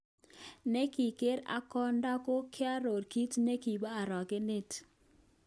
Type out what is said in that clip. Nekigere ak konda kokoaror kit nekibo orogenet.